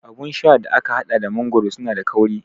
Abun sha da aka haɗa da mangoro suna da kauri